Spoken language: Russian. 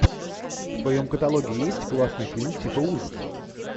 в твоем каталоге есть классный фильм типа ужасов